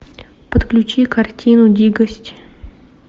подключи картину дикость